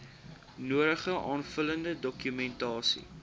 nodige aanvullende dokumentasie